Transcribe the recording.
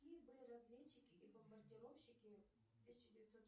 какие были разведчики и бомбардировщики в тысяча девятьсот